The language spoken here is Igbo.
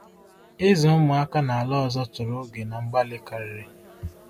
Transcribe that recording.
Ịzụ ụmụaka n’ala ọzọ chọrọ oge na mgbalị karịrị.